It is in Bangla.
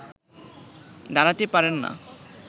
দাঁড়াতে পারেন না